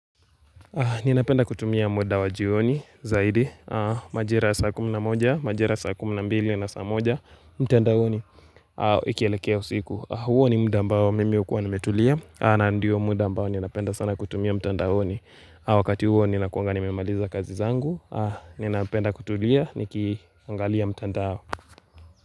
Ninapenda kutumia muda wa jioni zaidi, majira saa kumi na moja, majira saa kumi na mbili na saa moja, mtandaoni, ikielekea usiku. Huo ni muda ambao mimi hukuwa nimetulia, na ndiyo muda ambayo ninapenda sana kutumia mtandaoni. Wakati huo ninakuanga nimemaliza kazi zangu, ninapenda kutulia, nikiangalia mtandao.